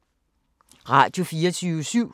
Radio24syv